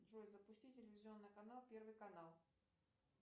джой запусти телевизионный канал первый канал